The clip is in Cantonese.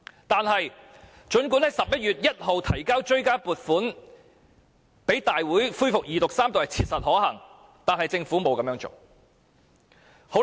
但是，儘管在11月1日向大會提交追加撥款條例草案二讀及三讀是切實可行，但政府並沒有這樣做。